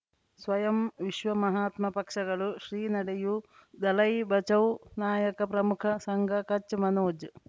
ಸ್ವಯಂ ವಿಶ್ವ ಮಹಾತ್ಮ ಪಕ್ಷಗಳು ಶ್ರೀ ನಡೆಯೂ ದಲೈ ಬಚೌ ನಾಯಕ ಪ್ರಮುಖ ಸಂಘ ಕಚ್ ಮನೋಜ್